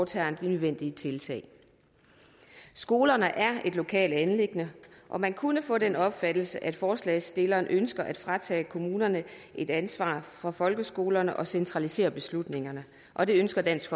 tager de nødvendige tiltag skolerne er et lokalt anliggende og man kunne få den opfattelse at forslagsstillerne ønsker at fratage kommunerne ansvaret for folkeskolerne og centralisere beslutningerne og det ønsker dansk